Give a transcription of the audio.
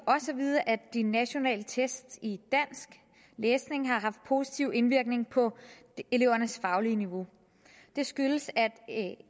vide at de nationale test i dansk læsning har haft positiv indvirkning på elevernes faglige niveau det skyldes at